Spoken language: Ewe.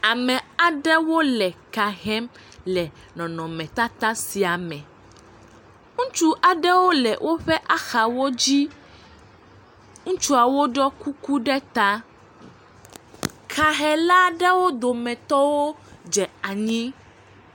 Ame aɖewo le ka hem le nɔnɔmetata sia me, ŋutsu aɖewo le woƒe axawo dzi, ŋutsuawo ɖɔ kuku ɖe ta, ka he la ɖewo dome tɔwo dze anyi.